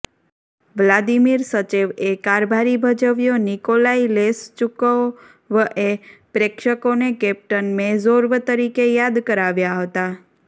Vladimir સચેવએ કારભારી ભજવ્યો નિકોલાઈ લેશચુકોવએ પ્રેક્ષકોને કેપ્ટન મેર્ઝોવ તરીકે યાદ કરાવ્યા હતા